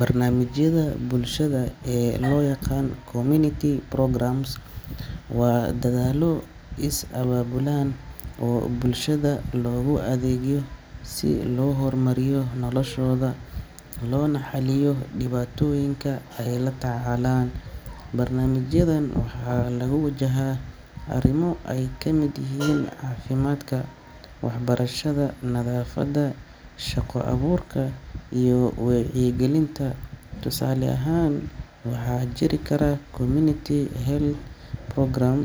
Barnaamijyada bulshada ee loo yaqaan community programmes waa dadaallo is abaabulan oo bulshada loogu adeegayo si loo horumariyo noloshooda loona xalliyo dhibaatooyinka ay la tacaalayaan. Barnaamijyadan waxaa lagu wajahaa arrimo ay ka mid yihiin caafimaadka, waxbarashada, nadaafadda, shaqo abuurka, iyo wacyigelinta. Tusaale ahaan, waxaa jiri kara community health programme